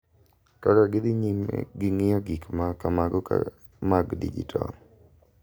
Kaka gidhi nyime gi ng’iyo gik ma kamago mag dijital.